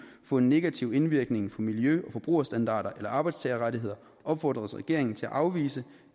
få en negativ indvirkning på miljø og forbrugerstandarder eller arbejdstagerrettigheder opfordres regeringen til at afvise